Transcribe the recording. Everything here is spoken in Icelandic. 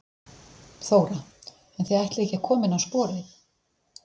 Þóra: En þið ætlið ekki að koma henni á sporið?